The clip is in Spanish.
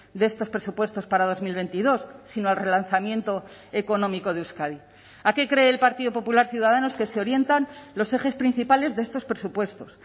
de estos presupuestos para dos mil veintidós sino al relanzamiento económico de euskadi a qué cree el partido popular ciudadanos que se orientan los ejes principales de estos presupuestos